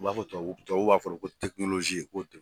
U b'a fɔ tubabu tubabu b'a fɔ de ko ko ten.